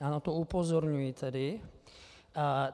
Já na to upozorňuji tedy.